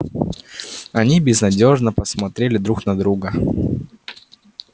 они безнадёжно посмотрели друг на друга